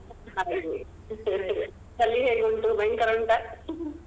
ಹಾಗೆ ಅಲ್ಲಿ ಹೇಗೆ ಉಂಟು ಭಯಂಕರ ಉಂಟ?